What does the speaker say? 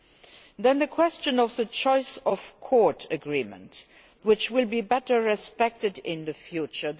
Then there is the question of the choice of court agreements, which will be better respected in the future.